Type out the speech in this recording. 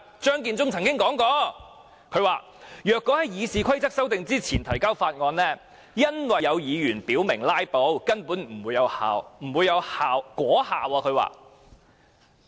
張建宗曾說，如果在《議事規則》修訂之前提交條例草案，由於有議員表明會"拉布"，故根本不會有果效。